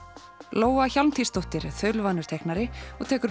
Lóa Hjálmtýsdóttir er þaulvanur teiknari og tekur